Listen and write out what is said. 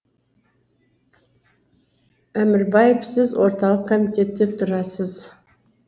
әмірбаев сіз орталық комитетте тұрасыз